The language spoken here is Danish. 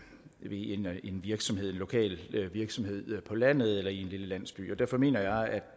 virksomhed lokal virksomhed på landet eller i en lille landsby derfor mener jeg at